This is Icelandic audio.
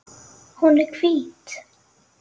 Hún er hvít.